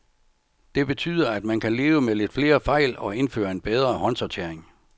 Det betyder, at man kan leve med lidt flere fejl og indføre en bedre håndsortering.